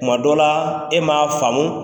Tuma dɔ la e m'a faamu